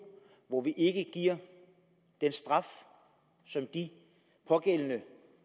hvor vi ikke giver den straf som de pågældende